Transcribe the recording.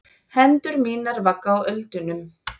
Hendur mínar vagga á öldunum.